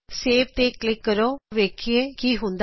save ਤੇ click ਕਰੋ ਆਓ ਵੇਖੀਏ ਕੇ ਕੀ ਹੁੰਦਾ ਹੈ